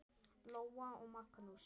Lóa og Magnús.